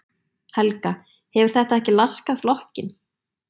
Helga: Hefur þetta ekki laskað flokkinn?